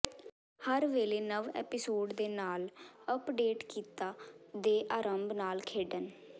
ਹਰ ਵੇਲੇ ਨਵ ਐਪੀਸੋਡ ਦੇ ਨਾਲ ਅੱਪਡੇਟ ਕੀਤਾ ਦੇ ਆਰੰਭ ਨਾਲ ਖੇਡਣ